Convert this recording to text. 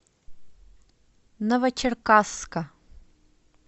новочеркасска